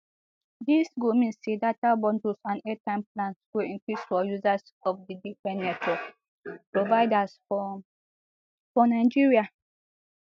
dis go mean say data bundles and airtime plans go increase for users of di different network providers for for nigeria